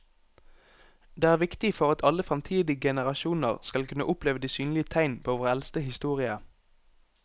Det er viktig for at alle fremtidige generasjoner skal kunne oppleve de synlige tegn på vår eldste historie.